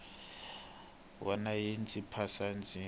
wana yi ndzi phasa ndzi